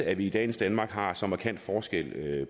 at vi i dagens danmark har så markant forskel